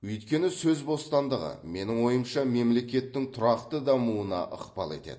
өйткені сөз бостандығы менің ойымша мемлекеттің тұрақты дамуына ықпал етеді